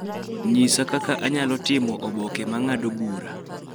nyisa kaka anyalo timo oboke ma ng'ado bura